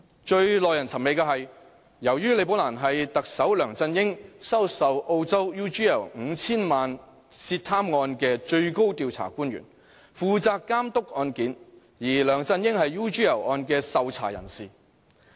最耐人尋味的是，由於李寶蘭是特首梁振英收受澳洲 UGL 5,000 萬元涉貪案的最高調查官員，負責監督案件，而梁振英是 UGL 案的受查人士。